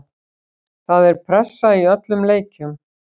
Það er pressa í öllum leikjum.